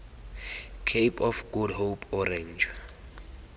cape of good hope orange